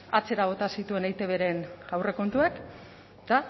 atzera bota zituen eitbren aurrekontuak eta